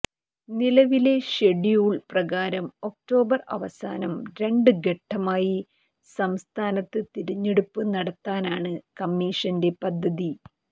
നിലവിലെ ഷെഡ്യൂൾ പ്രകാരം ഒക്ടോബർ അവസാനം രണ്ട് ഘട്ടമായി സംസ്ഥാനത്ത് തിരഞ്ഞെടുപ്പ് നടത്താനാണ് കമ്മീഷന്റെ പദ്ധതി